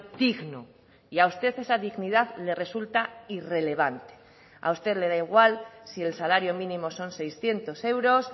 digno y a usted esa dignidad le resulta irrelevante a usted le da igual si el salario mínimo son seiscientos euros